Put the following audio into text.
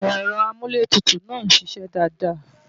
Ẹ̀rọ amúlétutù náà ń ṣiṣẹ́ dáadáa